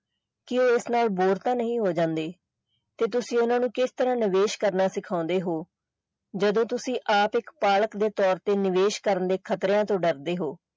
ਕਿ ਉਹ ਇਸ ਨਾਲ bore ਤਾਂ ਨਹੀਂ ਹੋ ਜਾਂਦੇ ਤੇ ਤੁਸੀਂ ਓਹਨਾ ਨੂੰ ਕਿਸ ਤਰਾਂ ਨਿਵੇਸ਼ ਕਰਨਾ ਸਿਖਾਉਂਦੇ ਹੋ ਜਦੋਂ ਤੁਸੀਂ ਆਪ ਇੱਕ ਪਾਲਕ ਦੇ ਤੌਰ ਤੇ ਨਿਵੇਸ਼ ਕਰਨ ਦੇ ਖਤਰਿਆਂ ਤੋਂ ਡਰਦੇ ਹੋ।